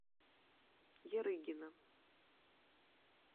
ярыгина